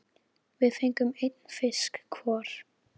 Við fengum einn fisk hvor.